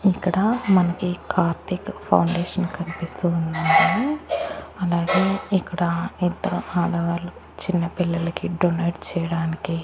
ఇక్కడ మనకి కార్తీక ఫౌండేషన్ కన్పిస్తూ ఉందండి అలాగే ఇక్కడ ఇద్దరు ఆడవాళ్ళు చిన్న పిల్లలకి డొనేట్ చేయడానికి --